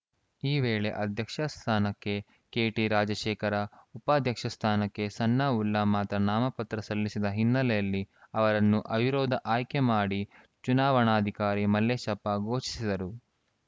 ಈ ವೇಳೆ ಅಧ್ಯಕ್ಷ ಸ್ಥಾನಕ್ಕೆ ಕೆಟಿರಾಜಶೇಖರ ಉಪಾಧ್ಯಕ್ಷ ಸ್ಥಾನಕ್ಕೆ ಸನಾವುಲ್ಲಾ ಮಾತ್ರ ನಾಮಪತ್ರ ಸಲ್ಲಿಸಿದ ಹಿನ್ನೆಲೆಯಲ್ಲಿ ಅವರನ್ನು ಅವಿರೋಧ ಆಯ್ಕೆ ಮಾಡಿ ಚುನಾವಣಾಧಿಕಾರಿ ಮಲ್ಲೇಶಪ್ಪ ಘೋಷಿಸಿದರು